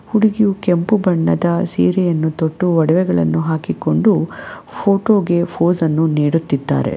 ಹುಡುಗಿಯು ಕೆಂಪು ಬಣ್ಣದ ಸೀರೆಯನ್ನು ತೊಟ್ಟು ಒಡವೆಗಳನ್ನು ಹಾಕಿಕೊಂಡು ಫೋಟೋಗೆ ಫೋಸನ್ನು ನೀಡುತ್ತಿದ್ದಾರೆ.